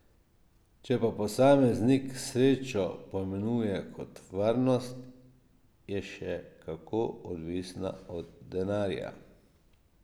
Če pa posameznik srečo pojmuje kot varnost, je še kako odvisna od denarja.